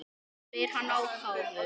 spyr hann ákafur.